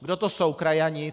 Kdo to jsou krajani?